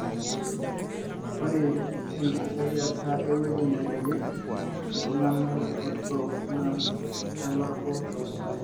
ore engisiayiata eweuji naingorieki iltungana botorok na kitalaku tosai